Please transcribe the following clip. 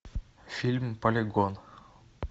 фильм полигон